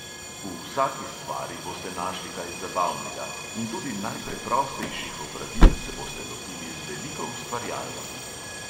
V vsaki stvari boste našli kaj zabavnega in tudi najpreprostejših opravil se boste lotili z veliko ustvarjalnosti.